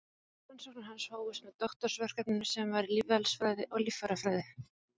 Rannsóknir hans hófust með doktorsverkefninu sem var í lífeðlisfræði og líffærafræði.